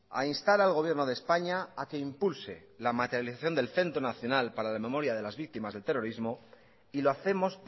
a instar al gobierno de españa a que impulse la materialización del centro nacional para la memoria de las víctimas del terrorismo y lo hacemos